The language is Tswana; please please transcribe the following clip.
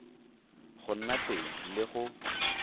go nna teng le go